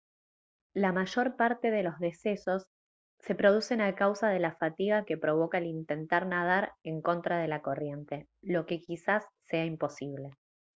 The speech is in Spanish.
la mayor parte de los decesos se producen a causa de la fatiga que provoca el intentar nadar en contra de la corriente lo que quizás sea imposible